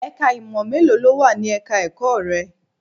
Ẹ̀ka ìmọ̀ mélòó ló wà ní ẹ̀ka ẹ̀kọ́ rẹ?